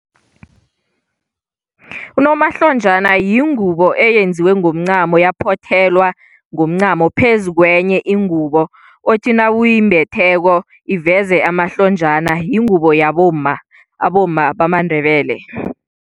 Unomahlonjana yingubo eyenziwe ngomncamo, yaphothelwa ngomncamo phezu kwenye ingubo othi nawuyimbetheko iveze amahlonjana. Yingubo yabomma, abomma bamaNdebele.